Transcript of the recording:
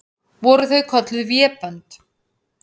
Voru það kölluð vébönd.